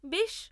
বেশ।